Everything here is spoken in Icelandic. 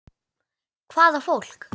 Hvaða fólk?